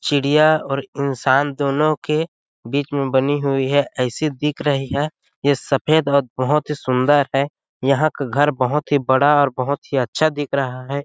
चिड़िया और इंसान दोनों के बिच में बनी हुई ऐसे दिख रही है जैसे सफेद और बहोत ही सुंदर है यहाँ को घर बहुत ही बड़ा और बहोत ही अच्छा दिख रहा है।